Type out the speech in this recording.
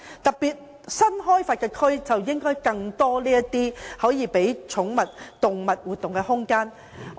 特別是新開發區，應該有更多可供寵物或動物活動的空間。